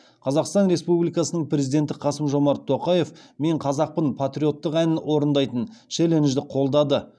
қазақстан республикасының президенті қасым жомарт тоқаев мен қазақпын патриоттық әнін орындайтын челленджді қолдады